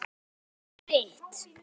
Alveg eins og þitt.